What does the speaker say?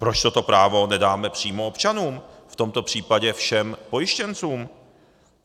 Proč toto právo nedáme přímo občanům, v tomto případě všem pojištěncům?